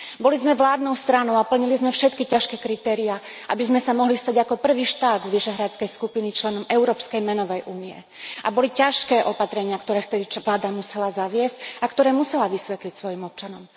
Boli sme vládnou stranou a plnili sme všetky ťažké kritériá, aby sme sa mohli stať ako prvý štát Vyšehradskej skupiny členom Európskej menovej únie, a boli ťažké opatrenia, ktoré vtedy vláda musela zaviesť a ktoré musela vysvetliť svojim občanom.